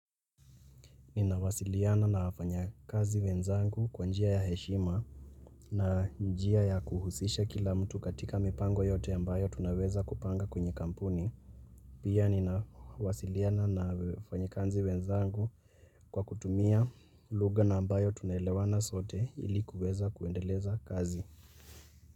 Ninawasiliana na wafanya kazi wenzangu kwa njia ya heshima na njia ya kuhusisha kila mtu katika mipango yote ambayo tunaweza kupanga kwenye kampuni. Pia ninawasiliana na wafanyakazi wenzangu kwa kutumia lugha na ambayo tunaelewana sote ili kuweza kuendeleza kazi.